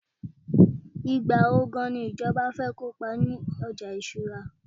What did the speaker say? igbawo gan ni ìjọba fẹ kópa ni ọjà ìṣura